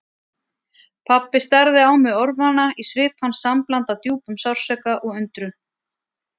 Pabbi starði á mig orðvana, í svip hans sambland af djúpum sársauka og undrun.